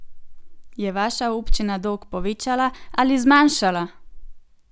Je vaša občina dolg povečala ali zmanjšala?